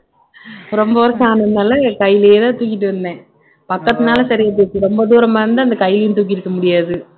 ரொம்ப வருஷம் ஆனதுனால என் கையிலேயேதான் தூக்கிட்டு வந்தேன் பக்கத்துல ரொம்ப தூரமா இருந்தால் அந்த கையையும் தூக்கி இருக்க முடியாது